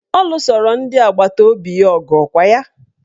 Ọ lusoro ndị agbataobi ọgụ ọkwa ya?